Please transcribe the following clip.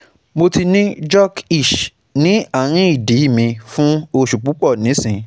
Mo ti ni jock itch ni arin idi mi fun osu pupo nisin